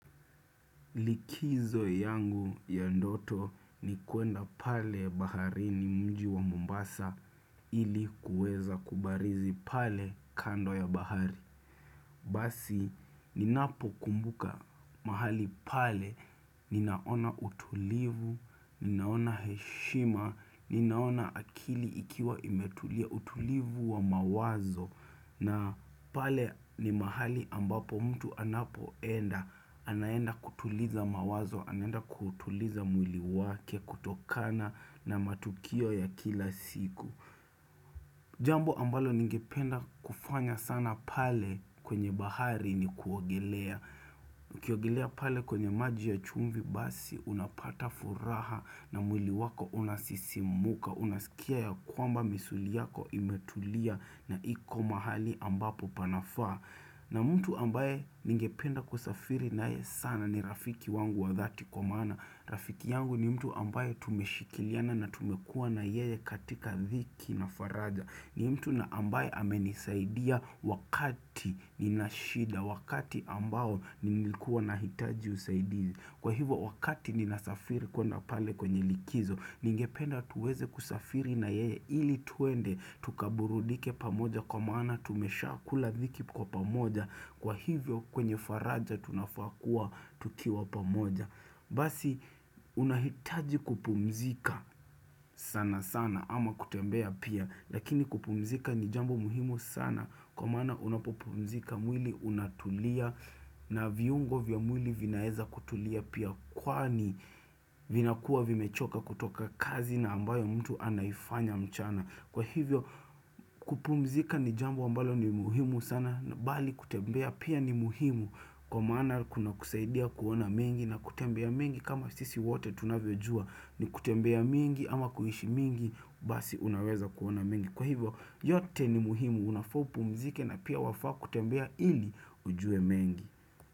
Likizo yangu ya ndoto ni kuenda pale bahari ni mji wa Mombasa ili kuweza kubarizi pale kando ya bahari. Basi, ninapokumbuka mahali pale, ninaona utulivu, ninaona heshima, ninaona akili ikiwa imetulia utulivu wa mawazo na pale ni mahali ambapo mtu anapoenda, anayenda kutuliza mawazo, anayenda kutuliza mwili wake, kutokana na matukio ya kila siku Jambo ambalo ningependa kufanya sana pale kwenye bahari ni kuogelea. Ukiogelea pale kwenye maji ya chumvi basi unapata furaha na mwili wako unasisimuka. Unasikia ya kwamba misuli yako imetulia na iko mahali ambapo panafaa. Na mtu ambaye ningependa kusafiri naye sana ni rafiki wangu wa dhati kwa maana. Rafiki yangu ni mtu ambaye tumeshikiliana na tumekua na yeye katika dhiki na faraja. Ni mtu na ambaye amenisaidia wakati nina shida wakati ambao nilikuwa na hitaji usaidizi Kwa hivyo wakati ninasafiri kuenda pale kwenye likizo Ningependa tuweze kusafiri na yeye ili twende tukaburudike pamoja kwa mana tumesha kula dhiki kwa pamoja Kwa hivyo kwenye faraja tunafaa kua tukiwa pamoja Basi unahitaji kupumzika sana sana ama kutembea pia Lakini kupumzika ni jambo muhimu sana kwa mana unapupumzika mwili unatulia na viungo vya mwili vinaeza kutulia pia kwani vinakuwa vimechoka kutoka kazi na ambayo mtu anaifanya mchana. Kwa hivyo kupumzika ni jambo ambalo ni muhimu sana na bali kutembea pia ni muhimu kwa maana kuna kusaidia kuona mengi na kutembea mingi kama sisi wote tunavejua ni kutembea mingi ama kuhishi mingi basi unaweza kuona mingi. Kwa hivyo yote ni muhimu unafa upumzike na pia wafaa kutembea ili ujue mingi.